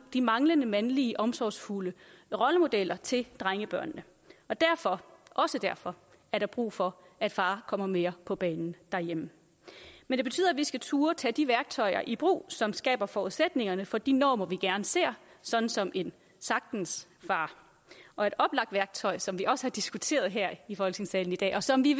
de manglende mandlige omsorgsfulde rollemodeller til drengebørnene derfor også derfor er der brug for at far kommer mere på banen derhjemme men det betyder at vi skal turde at tage de værktøjer i brug som skaber forudsætningerne for de normer vi gerne ser sådan som en sagtens far og et oplagt værktøj som vi også har diskuteret her i folketingssalen i dag og som vi